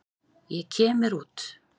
Ég kem mér út.